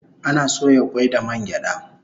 Ana soya kwai da man gyada